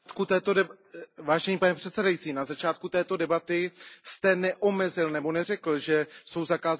Pane předsedající, na začátku této debaty jste neomezil, nebo neřekl, že jsou zakázané zelené karty.